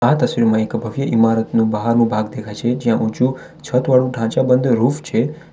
આ તસવીરમાં એક ભવ્ય ઈમારતનુ બહારનુ ભાગ દેખાય છે જ્યાં ઊંચુ છતવાળુ ઢાંચા બંધ રૂફ છે.